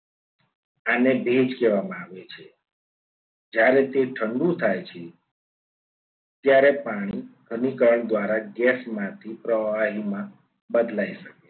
એને ભેજ કહેવામાં આવે છે જ્યારે તે ઠંડુ થાય છે. ત્યારે પાણી અનુકરણ દ્વારા ગેસ માંથી પ્રવાહીમાં બદલાય